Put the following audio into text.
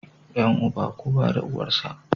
Yan uba, kowa da uwar sa